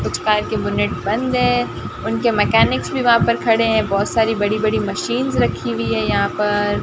कुछ कार के बोनट बंद है उनके मैकेनिक्स भी वहां पे खड़े हैं बहोत सारी बड़ी बड़ी मशीन्स रखी हुई है यहां पर--